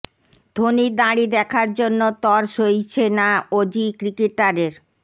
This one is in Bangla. ধোনির দাড়ি দেখার জন্য তর সইছে না অজি ক্রিকেটারের